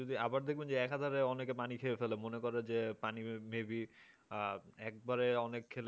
আবার দেখবেন যে এক হাজারে অনেকে পানি খেয়ে ফেলে মনে করে যে পানি maybe আহ একবারে অনেক খেলে